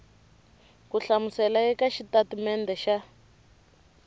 ku hlamusela eka xitatimede xa